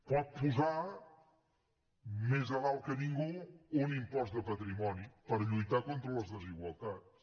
pot posar més a dalt que ningú un impost de patrimoni per lluitar contra les desigualtats